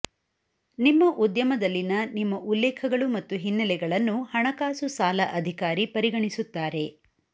ನಿಮ್ಮ ಉದ್ಯಮದಲ್ಲಿನ ನಿಮ್ಮ ಉಲ್ಲೇಖಗಳು ಮತ್ತು ಹಿನ್ನೆಲೆಗಳನ್ನು ಹಣಕಾಸು ಸಾಲ ಅಧಿಕಾರಿ ಪರಿಗಣಿಸುತ್ತಾರೆ